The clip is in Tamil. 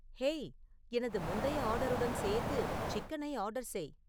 ஹேய் எனது முந்தைய ஆர்டருடன் சேர்த்து சிக்கனை ஆர்டர் செய்